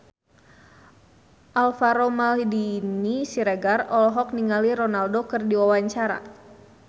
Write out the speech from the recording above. Alvaro Maldini Siregar olohok ningali Ronaldo keur diwawancara